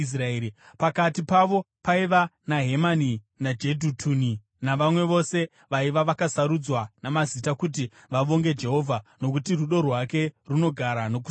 Pakati pavo paiva naHemani naJedhutuni navamwe vose vaiva vakasarudzwa namazita kuti vavonge Jehovha, “Nokuti rudo rwake runogara nokusingaperi.”